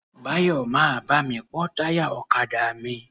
Báyọ̀ máa bá mi pọ́ táyà ọ̀kadà mi.